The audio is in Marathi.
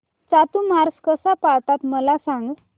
चातुर्मास कसा पाळतात मला सांग